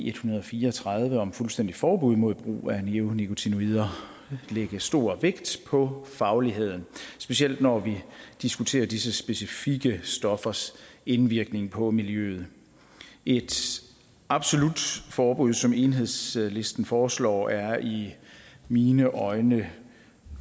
en hundrede og fire og tredive om fuldstændigt forbud mod brug af neonikotinoider lægge stor vægt på fagligheden specielt når vi diskuterer disse specifikke stoffers indvirkning på miljøet et absolut forbud som enhedslisten foreslår er i mine øjne